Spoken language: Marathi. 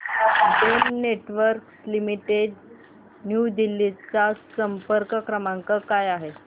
Den Networks Limited New Delhi चा संपर्क क्रमांक काय आहे